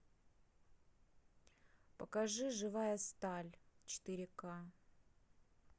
покажи живая сталь четыре ка